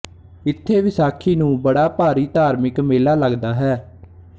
ਇਥੇ ਵਿਸਾਖੀ ਨੂੰ ਬੜਾ ਭਾਰੀ ਧਾਰਮਿਕ ਮੇਲਾ ਲਗਦਾ ਹੈ